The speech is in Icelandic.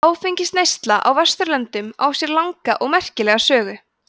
áfengisneysla á vesturlöndum á sér langa og merkilega sögu